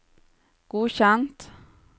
godkjent